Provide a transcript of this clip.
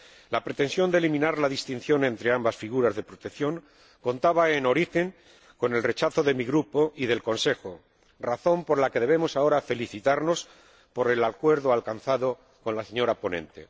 La pretensión de eliminar la distinción entre ambas figuras de protección contaba, en origen, con el rechazo de mi Grupo y del Consejo, razón por la que debemos ahora felicitarnos por el acuerdo alcanzado con la señora ponente.